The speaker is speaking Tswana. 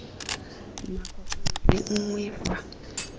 nako nngwe le nngwe fa